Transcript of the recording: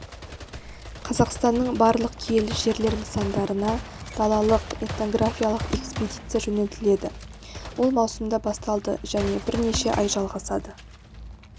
қазақстанның барлық киелі жерлер нысандарына далалық этнографиялық экспедиция жөнелтіледі ол маусымда басталды және бірнеше ай жалғасады